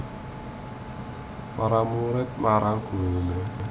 Para murid marang gurune e